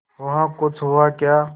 वहाँ कुछ हुआ क्या